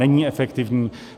Není efektivní.